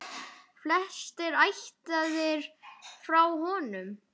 Flestir ættaðir frá honum.